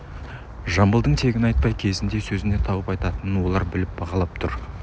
жамбылдың тегін айтпай кезін де сөзін де тауып айтатынын олар біліп бағалап тұр